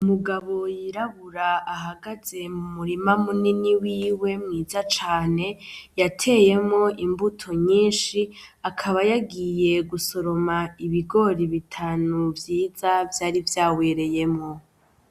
Umugabo yirabura ahagaze mumurima munini wiwe mwiza cane, yateyemwo imbuto nyinshi ,akaba yagiye gusoroma ibigori bitanu vyiza, vyari vyawereyemwo.